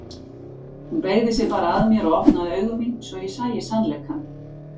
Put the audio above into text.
Hún beygði sig bara að mér og opnaði augu mín svo að ég sæi sannleikann.